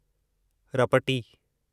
रपटी